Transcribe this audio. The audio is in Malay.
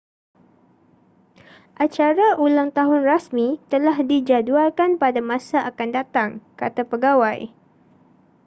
acara ulang tahun rasmi telah dijadualkan pada masa akan datang kata pegawai